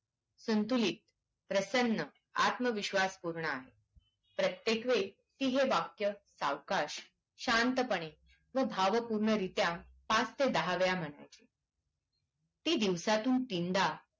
संतुलीत प्रसन्न आत्मविश्वास पुरणार प्रतेकवेळी ती हे वाक्य सावकाश शांतपणे व भावपूर्ण रित्या पाच ते दहा वेळा म्हणायची ती दिवसातून तीनदा